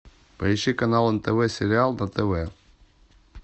поищи канал нтв сериал на тв